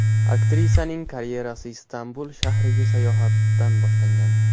Aktrisaning karyerasi Istanbul shahriga sayohatdan boshlangan.